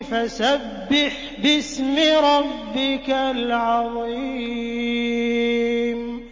فَسَبِّحْ بِاسْمِ رَبِّكَ الْعَظِيمِ